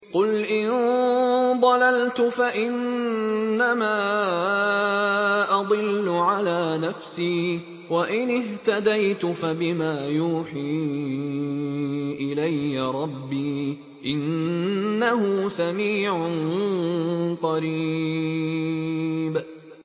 قُلْ إِن ضَلَلْتُ فَإِنَّمَا أَضِلُّ عَلَىٰ نَفْسِي ۖ وَإِنِ اهْتَدَيْتُ فَبِمَا يُوحِي إِلَيَّ رَبِّي ۚ إِنَّهُ سَمِيعٌ قَرِيبٌ